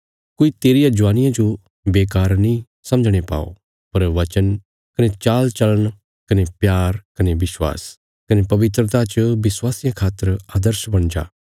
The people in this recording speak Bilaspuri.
कोई तेरिया ज्वानिया जो बेकार नीं समझणे पाओ पर वचन कने चालचल़ण कने प्यार कने विश्वास कने पवित्रता च विश्वासियां खातर आदर्श बणी जा